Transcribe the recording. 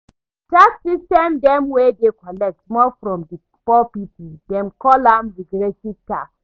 Tax system dey wey dey collect more from di poor pipo, dem call am regressive tax